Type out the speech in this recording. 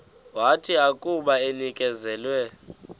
wathi akuba enikezelwe